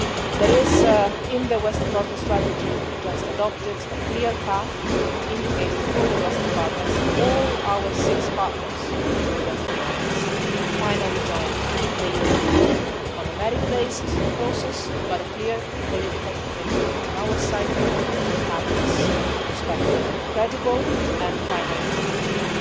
There is in the Western Balkan strategy which we have just adopted, a clear path indicated for the Western Balkans and for all our six partners in the Western Balkans to finally join the European Union on a merit-based process but with a clear, political commitment on our side to have this perspective credible and finally coming through.